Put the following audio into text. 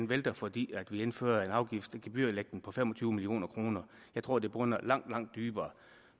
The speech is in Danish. vælter fordi vi indfører en afgift i form af gebyrlægning på fem og tyve million kroner jeg tror at det bunder langt langt dybere